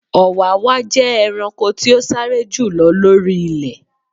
Ọ̀wàwà jẹ́ ẹranko tí o sáré jù lọ lori ilẹ.